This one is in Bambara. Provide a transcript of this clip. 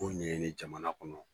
Ko ɲɛni jamana kɔnɔ.